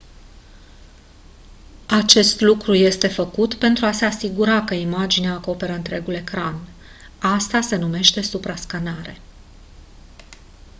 acest lucru este făcut pentru a se asigura că imaginea acoperă întregul ecran asta se numește suprascanare